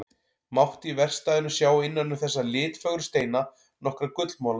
Mátti í verkstæðinu sjá innan um þessa litfögru steina nokkra gullmola.